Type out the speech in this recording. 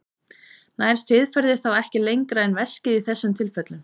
Nær siðferðið þá ekki lengra en veskið í þessum tilfellum?